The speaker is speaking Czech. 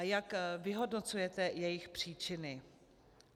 A jak vyhodnocujete jejich příčiny?